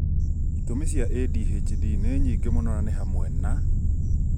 itũmi cia ADHD nĩ nyingĩ mũno na nĩ hamwe na: